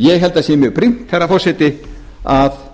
ég held því að það sé mjög brýnt herra forseti að